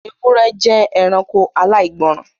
Ewúrẹ́ jẹ́ ẹranko aláìgbọ́ọ́rọ̀